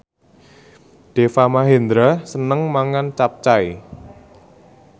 Deva Mahendra seneng mangan capcay